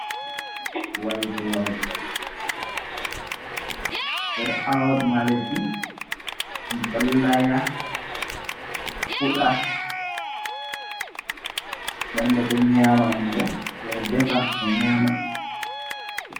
Waygoore ɓe ɗo aawa ɗum ha leddi, ɗum ɗo laya fuɗa. Nden ɓe ɗon nyaama ɗum bo, ɓe ɗon defa ɓe nyama.